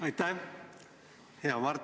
Aitäh, hea Helir!